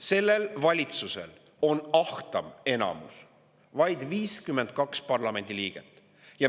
Sellel valitsusel on ahtaim enamus, vaid 52 parlamendiliiget.